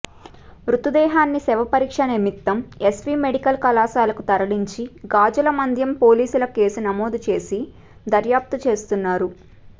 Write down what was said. మృతదేహాన్ని శవపరీక్ష నిమిత్తం ఎస్వీ మెడికల్ కళాశాలకు తరలించి గాజులమండ్యం పోలీసులు కేసు నమోదుచేసి దర్యాప్తు చేస్తున్నారు